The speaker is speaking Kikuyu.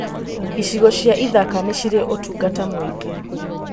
Icigo cia ithaka nĩ cirĩ ũtungata mũingĩ.